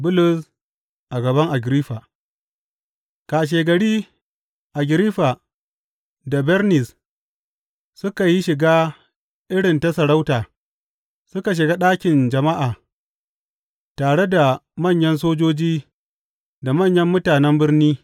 Bulus a gaban Agiriffa Kashegari Agiriffa da Bernis suka yi shiga irin ta sarauta suka shiga ɗakin jama’a tare da manyan sojoji da manyan mutanen birni.